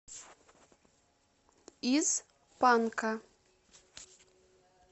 из панка